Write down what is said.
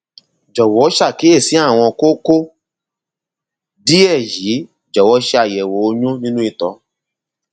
jọwọ ṣàkíyèsí àwọn kókó díẹ yìí jọwọ ṣe àyẹwò oyún nínú ìtọ